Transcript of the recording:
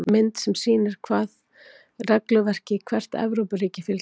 Mynd sem sýnir hvaða regluverki hvert Evrópuríki fylgir.